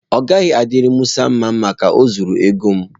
Ọ gaghị adịri Musa mma Maka o zuru ego m.